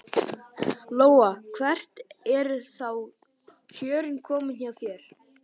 Lóa: Hvert eru þá kjörin komin hjá þér?